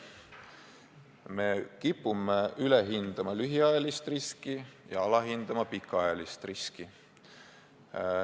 Me kipume ülehindama lühiajalist riski ja alahindama pikaajalist riski.